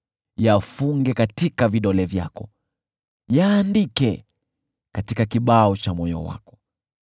Yafunge katika vidole vyako; yaandike katika kibao cha moyo wako.